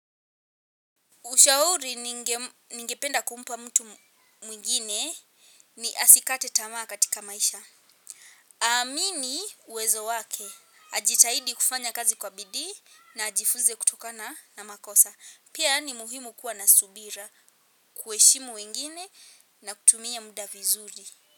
Ushauri ningependa kumpa mtu mwingine ni asikate tamaa katika maisha. Amini uwezo wake. Ajitahidi kufanya kazi kwa bidii na ajifunze kutokana na makosa. Pia ni muhimu kuwa na subira kuheshimu wengine na kutumia muda vizuri.